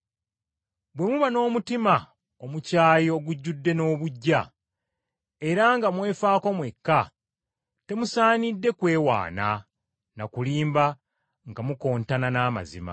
Bwe muba n’omutima omukyayi ogujjudde n’obuggya, era nga mwefaako mwekka, temusaanidde kwewaana na kulimba nga mukontana n’amazima.